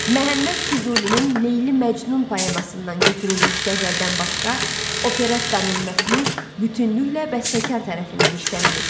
Məhəmməd Füzulinin Leyli Məcnun poemasından götürülmüş qəzəldən başqa operettanın mətni bütünüklə bəstəkar tərəfindən işlənilib.